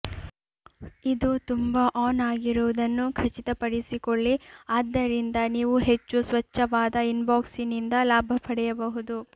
ಇದು ತುಂಬಾ ಆನ್ ಆಗಿರುವುದನ್ನು ಖಚಿತಪಡಿಸಿಕೊಳ್ಳಿ ಆದ್ದರಿಂದ ನೀವು ಹೆಚ್ಚು ಸ್ವಚ್ಛವಾದ ಇನ್ಬಾಕ್ಸ್ನಿಂದ ಲಾಭ ಪಡೆಯಬಹುದು